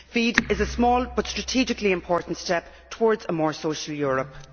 FEAD is a small but strategically important step towards a more social Europe.